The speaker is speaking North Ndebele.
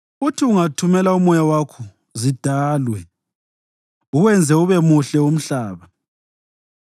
Uthi ungathumela uMoya wakho zidalwe, uwenze ube muhle umhlaba.